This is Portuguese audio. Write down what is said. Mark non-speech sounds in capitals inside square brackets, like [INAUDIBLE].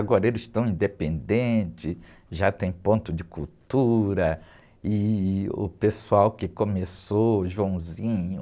Agora eles estão independentes, já tem ponto de cultura e o pessoal que começou, o, [UNINTELLIGIBLE]